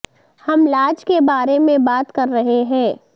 ہم لاج کے بارے میں بات کر رہے ہیں